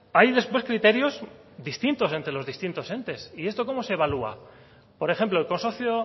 hay después criterios distintos entre los distintos entes y esto cómo se evalúa por ejemplo el consorcio